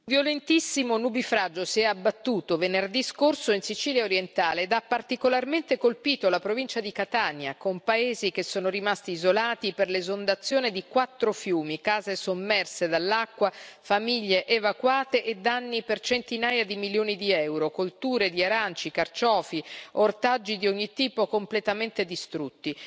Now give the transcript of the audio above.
Signor Presidente, onorevoli colleghi, un violentissimo nubifragio si è abbattuto venerdì scorso nella Sicilia orientale e ha particolarmente colpito la provincia di Catania, con paesi che sono rimasti isolati per l'esondazione di quattro fiumi, case sommerse dall'acqua, famiglie evacuate e danni per centinaia di milioni di euro, colture di aranci, carciofi e ortaggi di ogni tipo completamente distrutte.